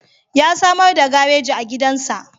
Ya samar da gareji a gidansa.